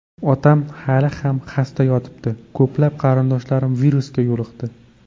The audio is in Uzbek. Otam hali ham xasta yotibdi, ko‘plab qarindoshlarim virusga yo‘liqdi.